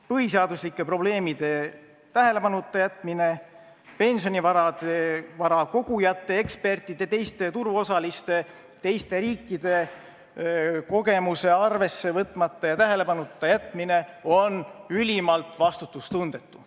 Põhiseaduslike probleemide tähelepanuta jätmine, pensionivara kogujate, ekspertide, teiste turuosaliste, teiste riikide kogemuse arvesse võtmata ja tähelepanuta jätmine on ülimalt vastutustundetu.